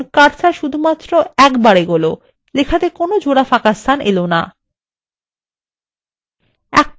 দেখুন cursor শুধুমাত্র একটিবার এগোলো এবং লেখাতে জোড়া ফাঁকাস্থান এলো না